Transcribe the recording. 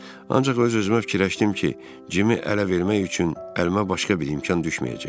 Ancaq öz-özümə fikirləşdim ki, Cimi ələ vermək üçün əlimə başqa bir imkan düşməyəcək.